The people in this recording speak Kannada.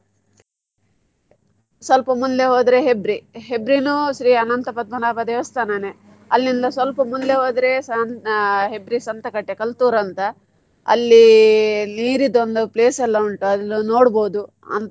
ಸ್ವಲ್ಪ ಮುಂದೆ ಹೋದ್ರೆ Hebri Hebri ನು ಶ್ರೀ ಅನಂತ ಪದ್ಮನಾಭ ದೇವಸ್ಥಾನನೇ ಅಲ್ಲಿಂದ ಸ್ವಲ್ಪ ಮುಂದೆ ಹೋದ್ರೆಸ Hebri Santhekatte Kalthur ಅಂತ ಅಲ್ಲಿ ನಿರೀದ್ ಒಂದ್ place ಎಲ್ಲ ಉಂಟು ಅದ್ನ ನೋಡ್ಬಹುದು.